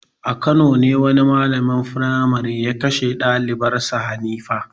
A Kano ne wani malamin firmare ya kashe dalibar sa Hanifa.